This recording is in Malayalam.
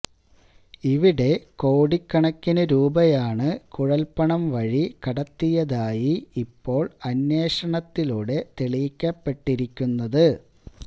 ഇവിടെ കോടിക്കണക്കിന് രൂപയാണ് കുഴല്പ്പണം വഴി കടത്തിയാതായി ഇപ്പോള് അന്വേഷണത്തിലൂടെ തെളിയിക്കപ്പെട്ടിരിക്കുന്നത്